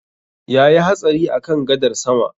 Yayi hatsari a kan gadar sama